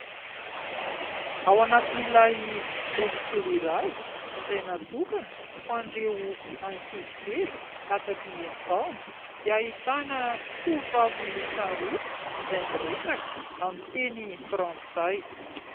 Ao anatin'ilay boky kely iray izay natokana ho an'ireo ankizy kely latsaky ny enina taona dia ahitana tovovavy miisa roa izay miresaka amin'ny teny frantsay.